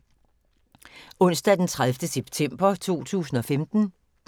Onsdag d. 30. september 2015